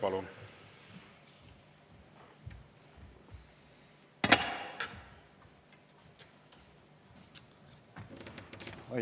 Palun!